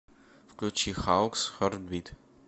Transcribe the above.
включи хаукс хартбит